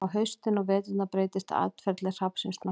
á haustin og veturna breytist atferli hrafnsins nokkuð